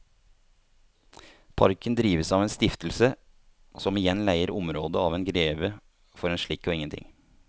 Parken drives av en stiftelse som igjen leier området av en greve for en slikk og ingenting.